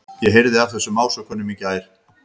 Ég heyrði af þessum ásökunum í gær.